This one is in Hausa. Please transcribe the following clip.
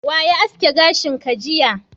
Wa ya aske gashin ka jiya?